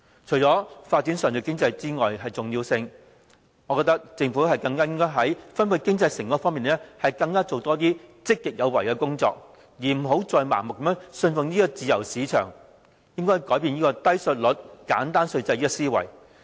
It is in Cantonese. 除了發展上述經濟之外，我覺得政府更加應該在分配經濟成果方面，做更多積極有為的工作，不要再盲目信奉自由市場，而應放棄"低稅率、簡單稅制"的思維。